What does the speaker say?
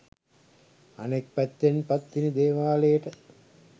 අනෙක් පැත්තෙන් පත්තිනි දේවාලයට